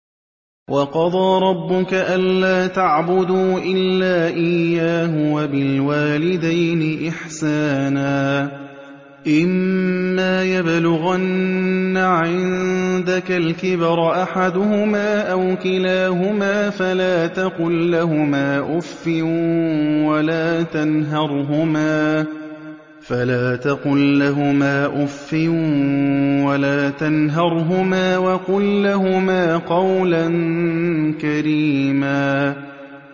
۞ وَقَضَىٰ رَبُّكَ أَلَّا تَعْبُدُوا إِلَّا إِيَّاهُ وَبِالْوَالِدَيْنِ إِحْسَانًا ۚ إِمَّا يَبْلُغَنَّ عِندَكَ الْكِبَرَ أَحَدُهُمَا أَوْ كِلَاهُمَا فَلَا تَقُل لَّهُمَا أُفٍّ وَلَا تَنْهَرْهُمَا وَقُل لَّهُمَا قَوْلًا كَرِيمًا